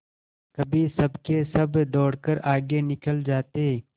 कभी सबके सब दौड़कर आगे निकल जाते